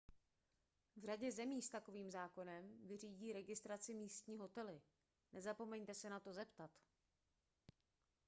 v řadě zemí s takovým zákonem vyřídí registraci místní hotely nezapomeňte se na to zeptat